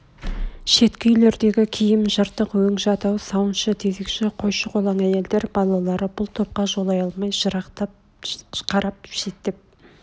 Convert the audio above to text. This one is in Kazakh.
шеткі үйлердегі киім жыртық өң жадау сауыншы тезекш қойшы-қолаң әйелдер балалары бұл топқа жолай алмай жырақтан қарап шеттеп